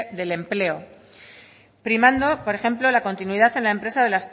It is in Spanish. del empleo primando por ejemplo la continuidad en la empresa